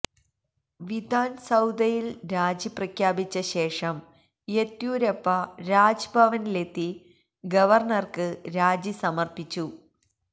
വിധാന് സൌധയില് രാജി പ്രഖ്യാപിച്ച ശേഷം യെദ്യൂരപ്പ രാജ്ഭവനിലെത്തി ഗവര്ണര്ക്ക് രാജിസമര്പ്പിച്ചു